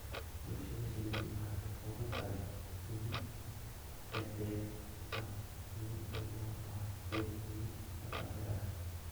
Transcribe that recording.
Bulshada shinnidu waxay ka kooban tahay shinni dhedig ah, shinni lab ah iyo shinni shaqaale ah.